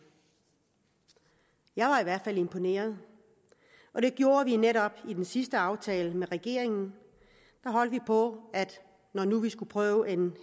jeg var i hvert fald imponeret og det gjorde at vi netop i den sidste aftale med regeringen holdt på at når nu vi skulle prøve en